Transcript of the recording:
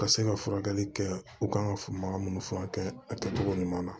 Ka se ka furakɛli kɛ u kan ka faamuya minnu furakɛ a kɛcogo ɲuman na